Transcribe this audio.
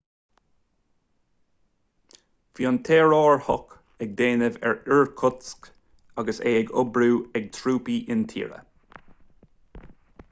bhí an t-aerárthach ag déanamh ar irkutsk agus é á oibriú ag trúpaí intíre